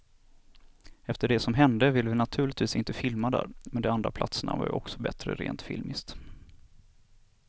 Efter det som hände ville vi naturligtvis inte filma där, men de andra platserna var också bättre rent filmiskt.